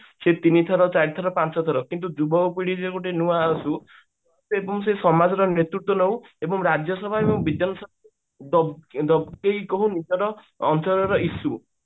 ସେ ତିନିଥର ଚାରିଥର ପାଞ୍ଚଥର କିନ୍ତୁ ଯୁବ ପିଢୀ ର ଗୋଟେ ନୂଆ ଏବଂ ସେ ସମାଜ ର ନେତୃତ୍ଵ ନଉ ଏବଂ ରାଜ୍ୟ ସଭାରୁ ବିଧାନ ଅଞ୍ଚଳର issue